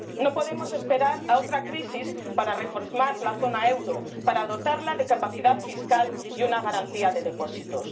No podemos esperar a otra crisis para reformar la zona del euro, para dotarla de capacidad fiscal y una garantía de depósitos.